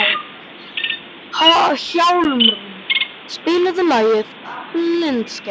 Hjálmrún, spilaðu lagið „Blindsker“.